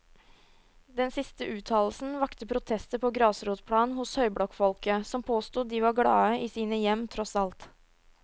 Den siste uttalelsen vakte protester på grasrotplan hos høyblokkfolket, som påsto de var glade i sine hjem, tross alt.